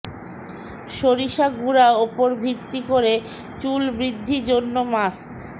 সরিষা গুঁড়া উপর ভিত্তি করে চুল বৃদ্ধি জন্য মাস্ক